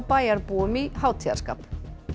bæjarbúum í hátíðarskap